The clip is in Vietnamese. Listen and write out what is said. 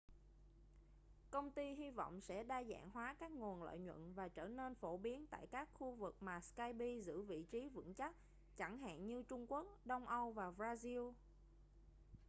công ty hy vọng sẽ đa dạng hóa các nguồn lợi nhuận và trở nên phổ biến tại các khu vực mà skype giữ vị trí vững chắc chẳng hạn như trung quốc đông âu và brazil